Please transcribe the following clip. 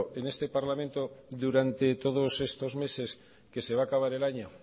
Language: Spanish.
en este parlamento durante todos estos meses que se va a acabar el año